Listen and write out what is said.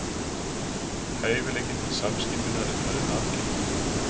Hæfileikinn til samskynjunar er talinn arfgengur.